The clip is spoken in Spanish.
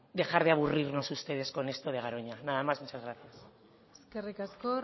dejar de aburrirnos ustedes con esto de garoña nada más muchas gracias eskerrik asko